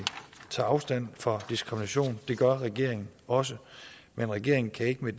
tager afstand fra diskrimination det gør regeringen også men regeringen kan ikke